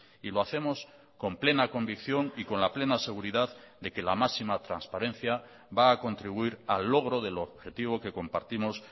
y lo hacemos con plena convicción y con la plena seguridad de que la máxima transparencia va a contribuir al logro del objetivo que compartimos